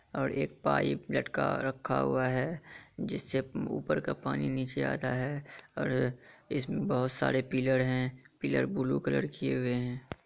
और एक पाइप लटका रखा हुआ है। जिससे ऊपर का पानी नीचे आता है और इसमे बहुत सारे पिलर है। पिलर ब्लू कलर किए हुए है।